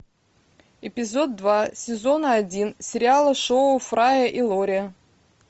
эпизод два сезона один сериала шоу фрая и лори